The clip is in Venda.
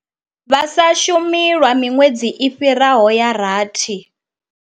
Vha sa shumi lwa miṅwedzi i fhiraho ya rathi.